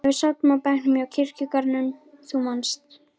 þegar við sátum á bekknum hjá kirkjugarðinum, þú manst.